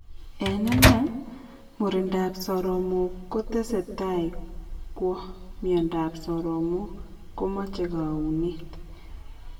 En inei, murindab soromok kotesetai kwo miondab soromok komache kaunet